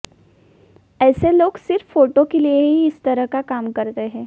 ऐसे लोग सिर्फ फोटो के लिए ही इस तरह का काम करते है